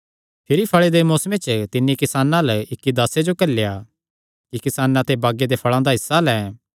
भिरी फल़े दे मौसमे च तिन्नी किसानां अल्ल इक्की दासे जो घल्लेया कि किसानां ते बागे दे फल़ां दा हिस्सा लैं